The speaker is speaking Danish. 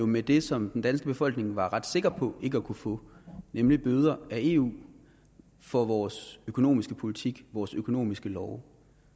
med det som den danske befolkning var ret sikker på ikke at kunne få nemlig bøder af eu for vores økonomiske politik vores økonomiske love